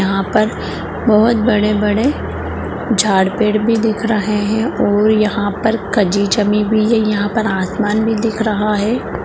यहा पर बहुत बड़े-बड़े झाड़-पेड़ भी देख रहे है और यहा पर कजी जमी भी है यहा पर आसमान भी दिख रहा है।